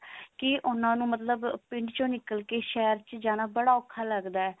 ਕੀ ਉਹਨਾਂ ਨੂੰ ਮਤਲਬ ਪਿੰਡ ਚੋਂ ਨਿਕਲਗੇ ਸ਼ਹਿਰ ਜਾਣਾ ਬਹੁਤ ਓਖਾ ਲੱਗਦਾ